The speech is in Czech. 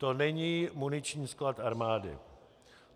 To není muniční sklad armády!